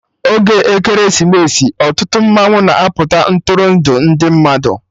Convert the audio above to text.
Oge Ekeresimesi, ọtụtụ mmanwụ na-apụta Ntụrụndụ ndị mmadụ